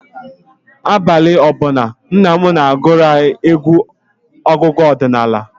Abalị ọ bụla, nna m na-agụrụ anyị egwu ọdịnala.